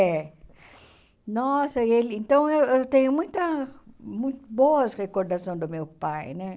É. Nossa, e ele então eu eu tenho muita boas recordações do meu pai, né?